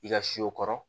I ka si o kɔrɔ